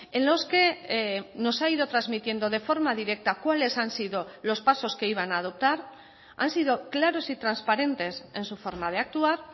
en los que nos ha ido transmitiendo de forma directa cuales han sido los pasos que iban a adoptar han sido claros y transparentes en su forma de actuar